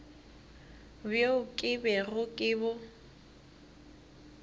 bjo ke bego ke bo